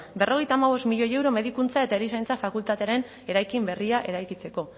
berrogeita hamabost milioi euro medikuntza eta erizaintza fakultatearen eraikin berria eraikitzeko